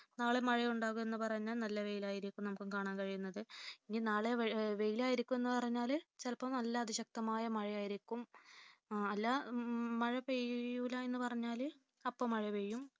നാളെ മഴയുണ്ടാകും എന്ന് പറഞ്ഞാൽ നല്ല വെയിലായിരിക്കും നമുക്ക് കാണാൻ കഴിയുന്നത്ഇ. നി നാളെ വെയിലായിരിക്കും എന്ന് പറഞ്ഞാല് ചിലപ്പോൾ നല്ല അതിശക്തമായ മഴയായിരിക്കും. അല്ല മഴ പെയ്യൂല്ല എന്ന് പറഞ്ഞാല് അപ്പൊ മഴ പെയ്യും